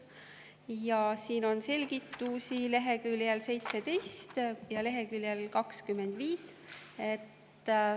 Ja siin on selgitusi leheküljel 17 ja leheküljel 25.